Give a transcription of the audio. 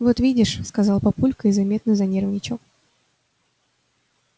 вот видишь сказал папулька и заметно занервничал